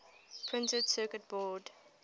printed circuit board